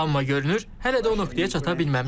Amma görünür, hələ də o nöqtəyə çata bilməmişik.